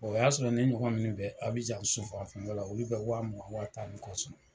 O y'a sɔrɔ ne ɲɔgɔn min bɛ Abijan la olu bɛ wa mugan, wa tan ni kɔ sɔrɔ